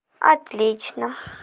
отлично